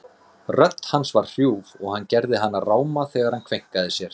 Rödd hans var hrjúf og hann gerði hana ráma þegar hann kveinkaði sér.